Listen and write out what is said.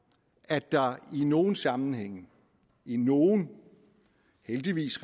at der i nogle sammenhænge i nogle heldigvis